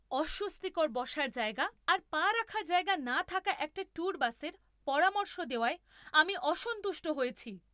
অস্বস্তিকর বসার জায়গা আর পা রাখার জায়গা না থাকা একটা ট্যুর বাসের পরামর্শ দেওয়ায় আমি অসন্তুষ্ট হয়েছি।